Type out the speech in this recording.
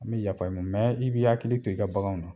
An bɛ yafa ɲini ,mɛ i b'i hakili to i ka baganw na.